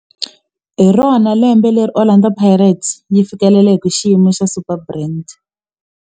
Hi rona lembe leri Orlando Pirates yi fikeleleke xiyimo xa Superbrand.